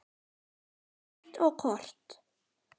Heimild og kort